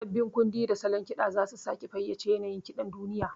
Sabbin kundi da salon ƙiɗa za su sake fayyace yanayin kiɗan duniya.